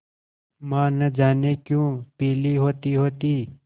माँ न जाने क्यों पीली होतीहोती